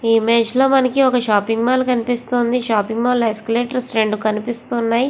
ఈ ఇమేజ్ లో మనకి ఒక షాపింగ్ మాల్ కనిపిస్తూ వుంది షాపింగ్ మాల్ లో రెండు ఎక్ష్క్లతొర్స కనిపిస్తూ వున్నాయ్.